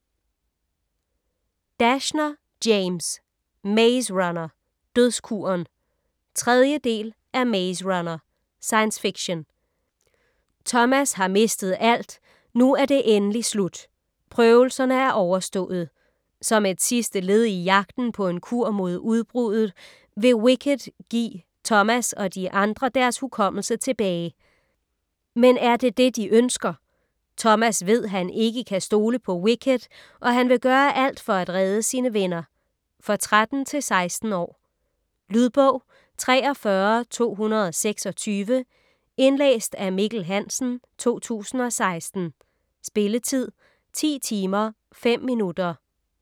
Dashner, James: Maze runner - dødskuren 3. del af Maze runner. Science fiction. Thomas har mistet alt, nu er det endelig slut. Prøvelserne er overstået. Som et sidste led i jagten på en kur mod udbruddet, vil WICKED give Thomas og de andre deres hukommelse tilbage. Men er det det de ønsker? Thomas ved, han ikke kan stole på WICKED og han vil gøre alt for at redde sine venner. For 13-16 år. Lydbog 43226 Indlæst af Mikkel Hansen, 2016. Spilletid: 10 timer, 5 minutter.